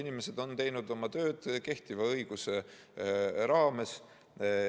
Inimesed on teinud oma tööd kehtiva õiguse raames.